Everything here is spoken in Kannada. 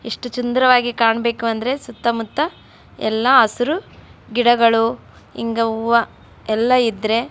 ಇಷ್ಟು ಸುಂದರವಾಗಿ ಕಾಣಬೇಕು ಅಂದ್ರೆ ಸುತ್ತ ಮುತ್ತ ಎಲ್ಲ ಹಸಿರು ಗಿಡಗಳು ಹಿಂಗ ಹೂವ ಎಲ್ಲ ಇದ್ರೆ --